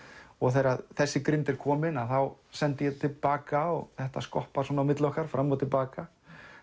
og þegar þessi grind er komin þá sendi ég til baka og þetta skoppar svona á milli okkar fram og til baka